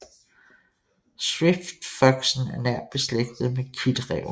Swiftfoxen er nært beslægtet med kitræven